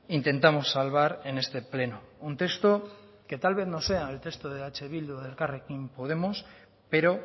intentamos salvar en este pleno un texto que tal vez no sea el texto de eh bildu o de elkarrekin podemos pero